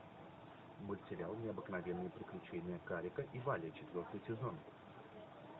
мультсериал необыкновенные приключения карика и вали четвертый сезон